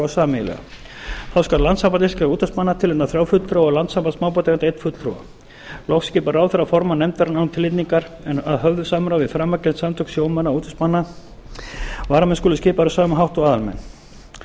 sameiginlega þá skal landssamband íslenskra útvegsmanna tilnefna þrjá fulltrúa og landssamband smábátaeigenda einn fulltrúa loks skipar ráðherra formann nefndarinnar án tilnefningar en að höfðu samráði við framangreind samtök sjómanna og útvegsmanna varamenn skulu skipaðir á sama hátt og aðalmenn